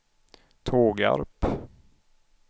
Tågarp